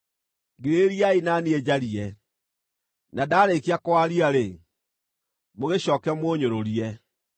Ngirĩrĩriai na niĩ njarie, na ndaarĩkia kwaria-rĩ, mũgĩcooke mũũnyũrũrie.